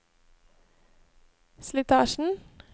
slitasjen